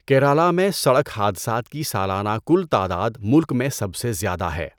کیرالہ میں سڑک حادثات کی سالانہ کل تعداد ملک میں سب سے زیادہ ہے۔